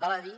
val a dir